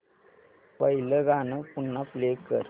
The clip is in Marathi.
पहिलं गाणं पुन्हा प्ले कर